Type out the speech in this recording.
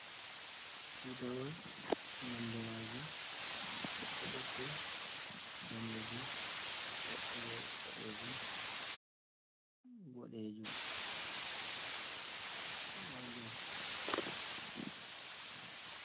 Tutawal nondemajum ɓokko-ɓokko, danejum, toɓɓere boɗejum, boɗejum